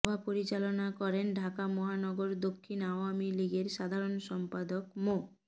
সভা পরিচালনা করেন ঢাকা মহানগর দক্ষিণ আওয়ামী লীগের সাধারণ সম্পাদক মো